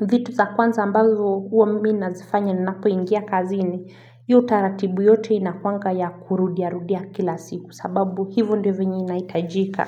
vitu za kwanza ambazo uwa mimi nazifanya napoingia kazini hiyo utaratibu yote inakuaga ya kurudiarudia kila siku kwa sababu hivyo ndivyo venye inahitajika.